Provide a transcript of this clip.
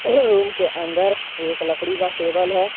Room के अंदर एक लकड़ी का टेबल है।